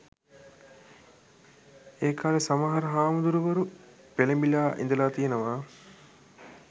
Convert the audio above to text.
ඒකාලෙ සමහර හාමුදුරුවරු පෙලඹිලා ඉදල තියනව